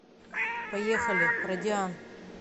поехали радиан